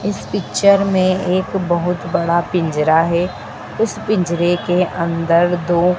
इस पिक्चर में एक बहोत बड़ा पिंजरा है उस पिंजरे के अंदर दो--